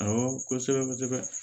Awɔ kosɛbɛ-kosɛbɛ